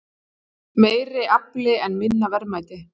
Meiri afli en minna verðmæti